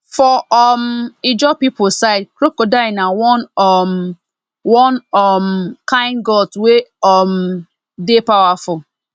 for um ijaw people side crocodile na one um one um kind gods wey um dey powerful